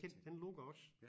Kent den lukker også